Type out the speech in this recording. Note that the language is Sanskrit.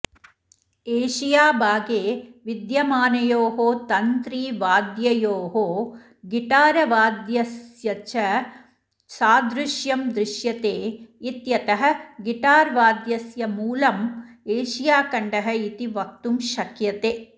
एशियाभागे विद्यमानयोः तन्त्रिवाद्ययोः गिटारवाद्यस्यच सादृश्यं दृश्यते इत्यतः गिटार्वाद्यस्य मूलम् एशियाखण्डः इति वक्तुं शक्यते